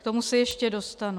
K tomu se ještě dostanu.